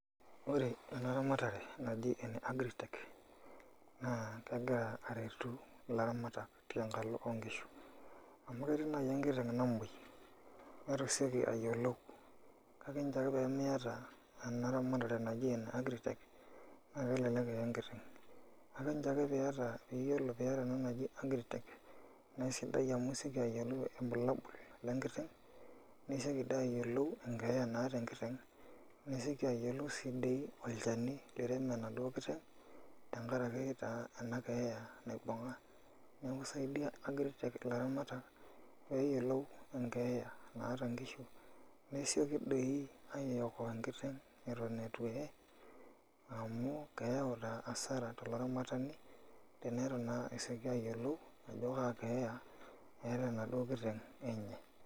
Ore ena ramatare naji ene agritech, naa kegira aretu ilaramatak tenkalo onkishu. Amu ketii nai enkiteng namoi, netu iseki ayiolou. Kake ncho ake pemiata ena ramatare naji ene agritech, na kelelek eye enkiteng. Kake nchoo ake piata piyiolo piata ena naji agritech, na sidai amu seki ayiolou ilbulabul lenkiteng, niseki di ayiolou enkeeya naata enkiteng. Niseki ayiolou si di olchani lirem enaduo kiteng, tenkaraki taa ena keeya naibung'a. Neeku isaidia agritech ilaramatak, peyiolou enkeeya naata nkishu, nesioki doi aiokoa enkiteng eton itu eye, amu keeu naa asara tolaramatani, tenitu naa eseki ayiolou, ajo kaa keya eeta enaduo kiteng enye.